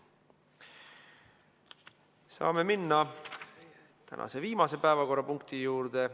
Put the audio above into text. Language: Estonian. Saame minna tänase viimase päevakorrapunkti juurde.